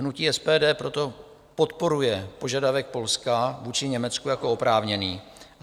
Hnutí SPD proto podporuje požadavek Polska vůči Německu jako oprávněný.